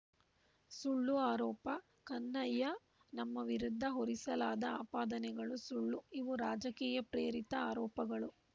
ಸುಳ್ಳು ಆರೋಪ ಕನ್ಹಯ್ಯಾ ನಮ್ಮ ವಿರುದ್ಧ ಹೊರಿಸಲಾದ ಆಪಾದನೆಗಳು ಸುಳ್ಳು ಇವು ರಾಜಕೀಯ ಪ್ರೇರಿತ ಆರೋಪಗಳು